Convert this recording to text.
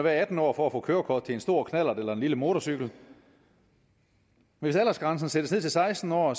være atten år for at få kørekort til en stor knallert eller en lille motorcykel hvis aldersgrænsen sættes ned til seksten år